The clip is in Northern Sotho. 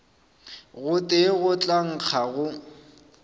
gotee go tla nkga go